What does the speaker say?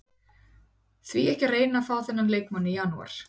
Því ekki að reyna að fá þennan leikmann í janúar?